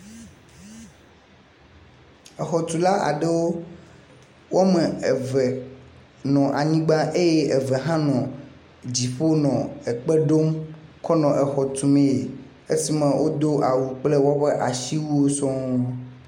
exɔtula aɖewo wɔme eve nɔ anyigbã eye eve hã nɔ dziƒo nɔ ekpeɖom kɔnɔ exɔtumɛɛ esime wodó asiwuiwo sɔŋ